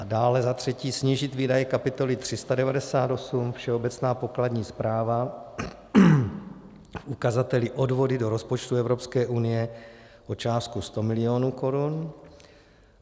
A dále, za třetí, snížit výdaje kapitoly 398 Všeobecná pokladní správa v ukazateli odvody do rozpočtu Evropské unie o částku 100 milionů korun.